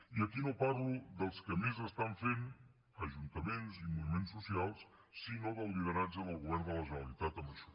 i aquí no parlo dels que més estan fent ajuntaments i moviments socials sinó del lideratge del govern de la generalitat en això